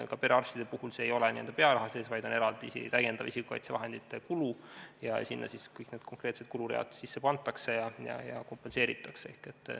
Ka perearstide puhul see ei ole n-ö pearaha sees, vaid on eraldi isikukaitsevahendite kulu, ja sinna siis kõik need konkreetsed kuluread sisse pannakse ja kompenseeritakse.